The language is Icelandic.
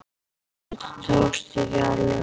Þetta tókst ekki alveg.